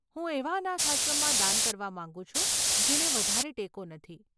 હું એવા અનાથાશ્રમમાં દાન કરવા માંગુ છું જેને વધારે ટેકો નથી.